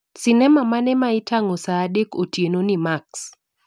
Sinema mane maitang'o saa dek otienoni I. Max